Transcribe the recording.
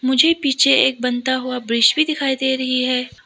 मुझे पीछे एक बनता हुआ ब्रिज भी दिखाई दे रही है।